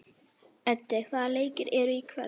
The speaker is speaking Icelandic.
Öddi, hvaða leikir eru í kvöld?